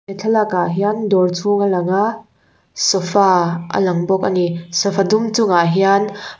he thlalak ah hian dawr chhung a lang a sofa a lang bawk ani sofa dum chung ah hian--